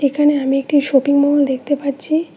এখানে আমি একটি শোপিং মল দেখতে পাচ্ছি।